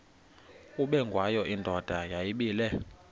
ubengwayo indoda yayibile